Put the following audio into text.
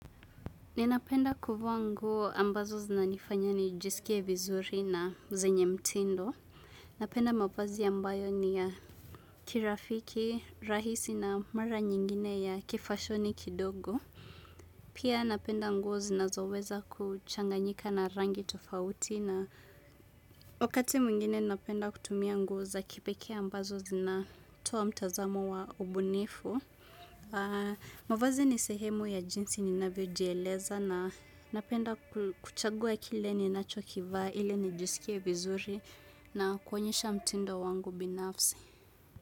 Ninapenda kuvaa nguo ambazo zinanifanya ni jisikie vizuri na zenye mtindo. Napenda mavazi ambayo ni ya kirafiki, rahisi na mara nyingine ya kifashoni kidogo. Pia napenda nguo zinazoweza kuchanganyika na rangi tofauti na wakati mwingine napenda kutumia nguo za kipekee ambazo zinatoa mtazamo wa ubunifu. Mavazi ni sehemu ya jinsi ninavyo jieleza na napenda kuchagua kile ni nacho kivaa ili nijisikie vizuri na kuonyesha mtindo wangu binafsi.